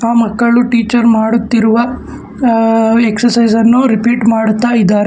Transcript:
ಆ ಮಕ್ಕಳು ಟೀಚರ್ ಮಾಡುತ್ತಿರುವ ಅ ಎಕ್ಸರ್ಸೈಜ್ ಅನ್ನು ರಿಪೀಟ್ ಮಾಡುತ್ತಾ ಇದಾರೆ.